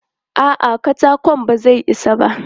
A'a, katakon ba zai isa ba.